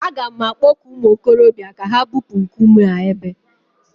A ga m akpọku ụmụ okorobịa ka ha bupuo a nkume a ebe